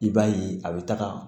I b'a ye a bɛ taga